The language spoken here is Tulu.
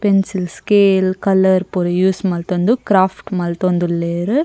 ಪೆನ್ಸಿಲ್ ಸ್ಕೇಲ್ ಕಲರ್ ಪೂರ ಯೂಸ್ ಮಂತೊಂದು ಕ್ರಾಫ್ಟ್ ಮಂತೊಂದುಲ್ಲೆರ್.